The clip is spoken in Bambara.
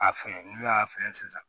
A fɛ n'u y'a fɛn sisan